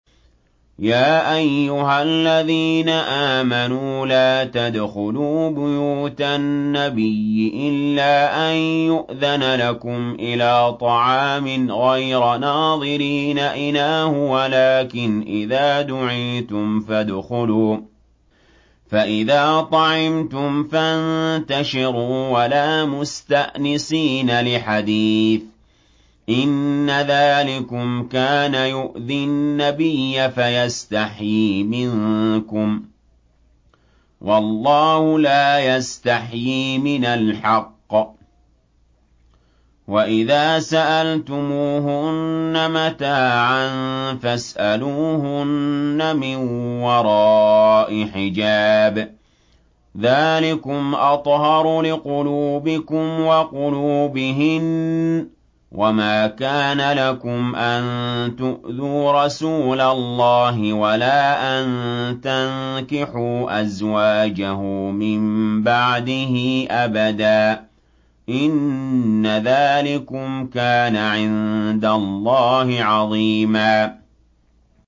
يَا أَيُّهَا الَّذِينَ آمَنُوا لَا تَدْخُلُوا بُيُوتَ النَّبِيِّ إِلَّا أَن يُؤْذَنَ لَكُمْ إِلَىٰ طَعَامٍ غَيْرَ نَاظِرِينَ إِنَاهُ وَلَٰكِنْ إِذَا دُعِيتُمْ فَادْخُلُوا فَإِذَا طَعِمْتُمْ فَانتَشِرُوا وَلَا مُسْتَأْنِسِينَ لِحَدِيثٍ ۚ إِنَّ ذَٰلِكُمْ كَانَ يُؤْذِي النَّبِيَّ فَيَسْتَحْيِي مِنكُمْ ۖ وَاللَّهُ لَا يَسْتَحْيِي مِنَ الْحَقِّ ۚ وَإِذَا سَأَلْتُمُوهُنَّ مَتَاعًا فَاسْأَلُوهُنَّ مِن وَرَاءِ حِجَابٍ ۚ ذَٰلِكُمْ أَطْهَرُ لِقُلُوبِكُمْ وَقُلُوبِهِنَّ ۚ وَمَا كَانَ لَكُمْ أَن تُؤْذُوا رَسُولَ اللَّهِ وَلَا أَن تَنكِحُوا أَزْوَاجَهُ مِن بَعْدِهِ أَبَدًا ۚ إِنَّ ذَٰلِكُمْ كَانَ عِندَ اللَّهِ عَظِيمًا